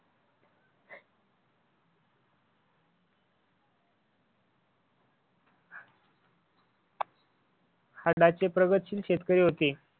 आत्ताचे प्रगतशील शेतकरी होते.